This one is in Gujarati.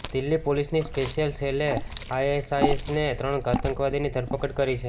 દિલ્હી પોલીસની સ્પેશ્યલ સેલે આઇએસઆઇએસના ત્રણ આતંકવાદીની ધરપકડ કરી છે